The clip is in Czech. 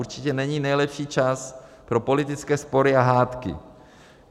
Určitě není nejlepší čas pro politické spory a hádky.